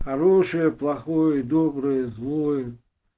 хороший плохой добрый злой